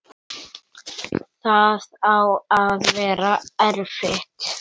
Það á að vera erfitt.